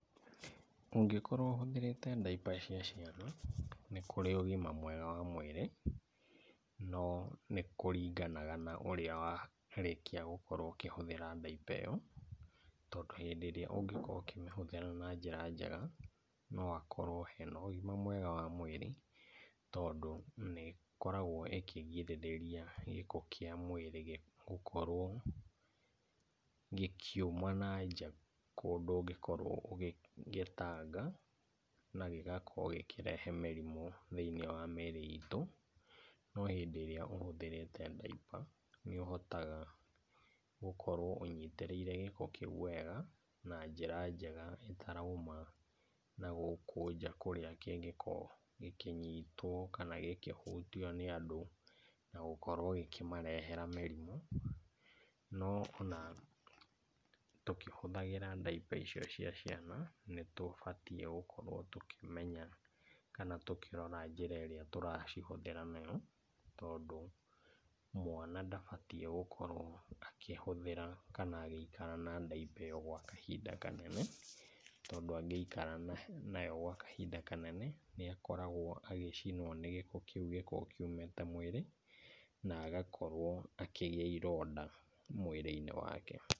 Ũngĩkorwo ũhũthĩrĩte diaper cia ciana nĩ kũrĩ ũgima mwega wa mwĩrĩ no nĩkũringanaga na ũrĩa warĩkia gũkorwo ũkĩhuthĩra diaper ĩyo tondũ hĩndĩ ĩrĩa ũngĩkorwo ũhĩmĩhuthĩra na njĩra njega noakorwe hena ũgima mwega wa mwĩrĩ, tondũ nĩkoragwo ĩkĩrigĩrĩria gĩko kĩa mwĩrĩ gũkorwo gĩkiuma na nja kũndũ ũngĩkorwo ũgĩtanga na gĩgakorwo gĩkĩrehe mĩrimũ thĩinĩ wa mĩrĩ itũ, no hĩndĩ ĩrĩa ũhuthĩrĩte diaper nĩũhotaga gũkorwo ũnyitĩrĩire gĩko kĩu wega na njĩra njega ĩtarauma nagũkũ nja kũrĩa kĩngĩkorwo gĩkĩnyitwo kana gĩkĩhutio nĩ andũ na gũkorwo gĩkimarehera mĩrimũ, no ona tũkĩhuthĩraga diaper icio cia ciana nĩtũbatie gũkorwo tũkĩmenya kana tũkĩrora njĩra ĩrĩa tũracihũthĩra nayo, tondũ mwana ndabatie gũkorwo akĩhuthĩra kana agĩikara na diaper ĩyo kwa kahinda kanene, tondũ angĩikara nayo kwa kahinda kanene nĩakoragwo agĩcinwo nĩ gĩko kĩu kiu gĩkoretwe kiũmĩtĩ mwĩrĩ na agakorwo akĩgĩa ironda mwĩrĩinĩ wake.